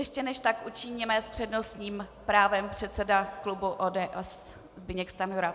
Ještě než tak učiníme, s přednostním právem předseda klubu ODS Zbyněk Stanjura.